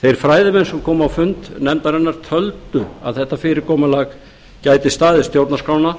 þeir fræðimenn sem komu á fund nefndarinnar töldu að þetta fyrirkomulag gæti staðist stjórnarskrána